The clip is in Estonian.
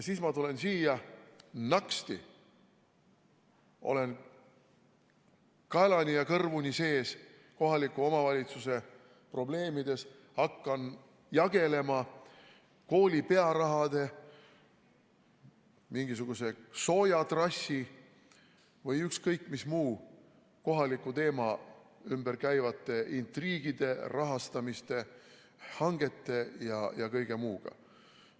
Siis ma tulen siia ja naksti olen kaelani ja kõrvuni sees kohaliku omavalitsuse probleemides, hakkan jagelema kooli pearaha, mingisuguse soojatrassi või ükskõik mis muu kohaliku teema ümber käivate intriigide, rahastamise, hangete ja kõige muuga.